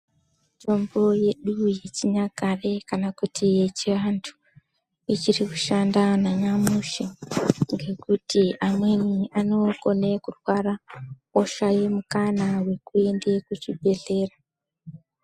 Mutombo yedu yechinyakare kana kuti yechiantu ichiri kushanda nanyamushi ngekuti amweni anokone kurwara oshaye mukana wekuende kuchibhedhlera.